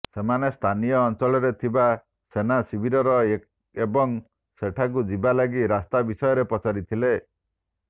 ସେମାନେ ସ୍ଥାନୀୟ ଅଞ୍ଚଳରେ ଥିବା ସେନାର ଶିବିର ଏବଂ ସେଠାକୁ ଯିବା ଲାଗି ରାସ୍ତା ବିଷୟରେ ପଚାରିଥିଲେ